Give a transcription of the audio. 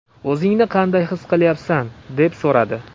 O‘zingni qanday his qilyapsan?”, deb so‘radi.